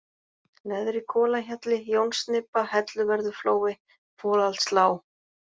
Neðri-Kolahjalli, Jónsnibba, Helluvörðuflói, Folaldslág